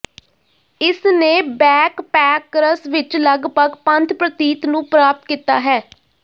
ਇਸ ਨੇ ਬੈਕਪੈਕਰਸ ਵਿਚ ਲਗਭਗ ਪੰਥ ਪ੍ਰਤੀਤ ਨੂੰ ਪ੍ਰਾਪਤ ਕੀਤਾ ਹੈ